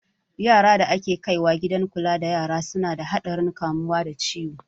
Yaran da ake kaiwa gidan kula da yara su na da haɗarin kamuwa da ciwo